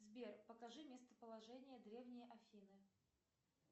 сбер покажи местоположение древние афины